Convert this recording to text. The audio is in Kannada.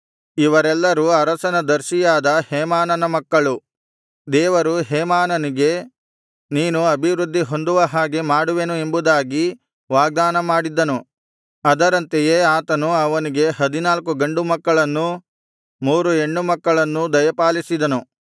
ಇವರೆಲ್ಲರು ಅರಸನ ದರ್ಶಿಯಾದ ಹೇಮಾನನ ಮಕ್ಕಳು ದೇವರು ಹೇಮಾನನಿಗೆ ನೀನು ಅಭಿವೃದ್ಧಿ ಹೊಂದುವಹಾಗೆ ಮಾಡುವೆನು ಎಂಬುದಾಗಿ ವಾಗ್ದಾನ ಮಾಡಿದ್ದನು ಅದರಂತೆಯೇ ಆತನು ಅವನಿಗೆ ಹದಿನಾಲ್ಕು ಗಂಡುಮಕ್ಕಳನ್ನೂ ಮೂರು ಹೆಣ್ಣುಮಕ್ಕಳನ್ನೂ ದಯಪಾಲಿಸಿದನು